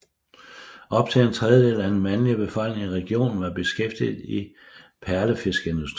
Op til en tredjedel af den mandlige befolkning i regionen var beskæftiget i perlefiskerindustrien